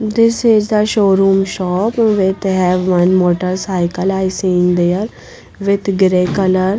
This is the showroom shop with have one motorcycle i seen there with grey color.